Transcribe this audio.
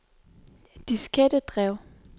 diskettedrev